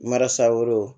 Mara sago